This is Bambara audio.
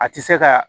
A tɛ se ka